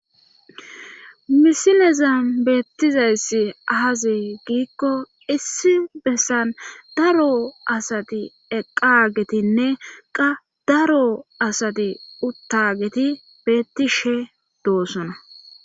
Misinezan beettizayssi ahazee giikko issi bessan daro asati eqagetinne qa daro asati uttageti beetti she doossona.